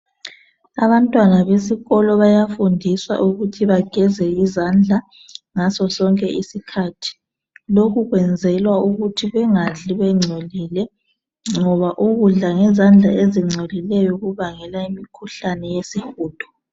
Abantwana besikolo bayafundiswa ukuthi bageze izandla ngaso sonke isikhathi. Lokhu kwenzelwa ukuthi bangadli bengcolile ngoba ukudla ngezandla ezingcolileyo kubangela umkhuhlane wesihudo.